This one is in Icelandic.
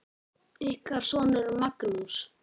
Ykkar sonur, Magnús.